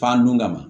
Fan dun kama